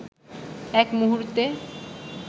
এক মুহূর্তে